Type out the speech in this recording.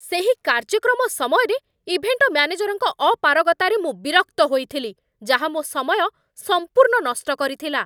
ସେହି କାର୍ଯ୍ୟକ୍ରମ ସମୟରେ, ଇଭେଣ୍ଟ ମ୍ୟାନେଜରଙ୍କ ଅପାରଗତାରେ ମୁଁ ବିରକ୍ତ ହୋଇଥିଲି, ଯାହା ମୋ ସମୟ ସମ୍ପୂର୍ଣ୍ଣ ନଷ୍ଟ କରିଥିଲା।